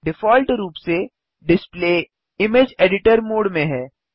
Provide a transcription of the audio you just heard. default रूप से display image editor mode में है